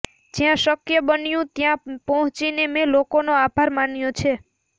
જ્યાં શક્ય બન્યું ત્યાં પહોંચીને મેં લોકોનો આભાર માન્યો છે